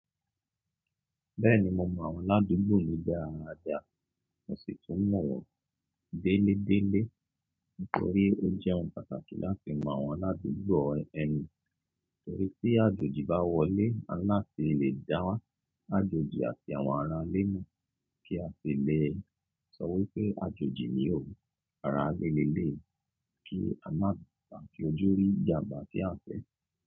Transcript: Bẹ́ẹ̀ni mo mọ àwọn aládùúgbò mi dáadáa. Mo sì tún mọ̀ wọ́n déélé déélé nítorí ó jẹ́ ohun pàtàkì láti mọ àwọn aládùúgbò ẹni. Torí tí àjòjì bá wọlé, a nlá tí lè dáà ájòjì àti àwọn ara ilé mọ kí a lè sọ wípé àjòjì ni o, ara ilé ni elée, kí a má ṣe bà fi ojú rí ìjàmbá tí a fẹ̀